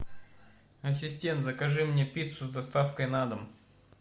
ассистент закажи мне пиццу с доставкой на дом